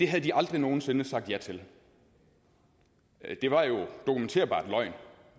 havde de aldrig nogen sinde sagt ja til det var jo en dokumenterbar løgn